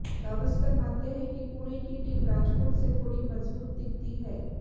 गावस्कर मानते हैं कि पुणे की टीम राजकोट से थोड़ी मजबूत दिखती है